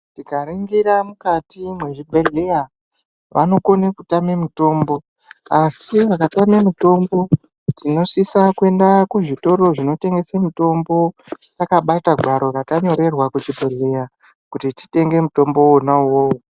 Tikaringira mukati mwezvibhehleya vanokone kutama mitombo asi vakatame mitombo tinosise kuende kuzvitoro zvinotengese mitombo takabata gwaro ratanyorerwa kuchibhehleya kuti totenga mutombo uwowo.